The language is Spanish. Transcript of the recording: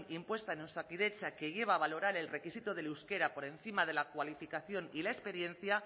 impuesta en osakidetza que lleva a valorar el requisito del euskera por encima de la cualificación y la experiencia